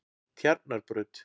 Tjarnarbraut